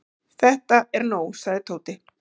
Þetta er nóg sagði Tóti.